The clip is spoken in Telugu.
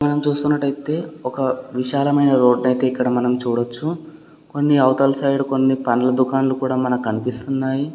మనం చూస్తున్నటైతే ఒక విశాలమైన రోడ్డు ని అయితే మనం చూడొచ్చు కొన్ని అవతల సైడ్ కొన్ని పండ్ల దుకాణాలు మనకి కనిపిస్తున్నాయి.